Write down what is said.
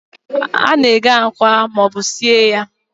A na-eghe akwa ma ọ bụ sie ya.